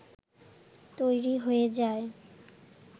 তৈরি হয়ে যায়